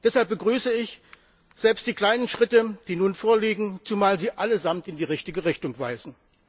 Deshalb begrüße ich selbst die kleinen Schritte, die nun vorliegen, zumal sie allesamt in die richtige Richtung weisen.